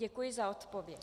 Děkuji za odpověď.